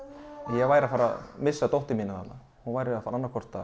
ég væri að fara að missa dóttur mína þarna hún væri annaðhvort